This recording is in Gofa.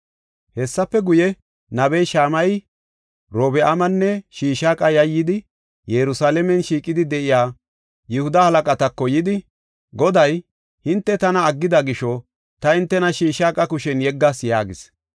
Hessafe guye, nabey Shamayey Orobi7aamanne Shishaaqa yayyidi Yerusalaamen shiiqidi de7iya Yihuda halaqatako yidi, “Goday, ‘Hinte tana aggida gisho, ta hintena Shishaaqa kushen yeggas’ ” yaagis.